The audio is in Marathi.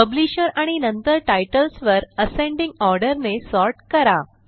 पब्लिशर आणि नंतर टाइटल्स वर असेंडिंग ऑर्डर ने सॉर्ट करा